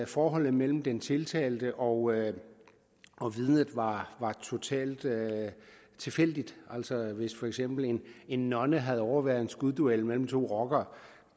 forholdet mellem den tiltalte og og vidnet var totalt tilfældigt altså hvis for eksempel en nonne havde overværet en skudduel mellem to rockere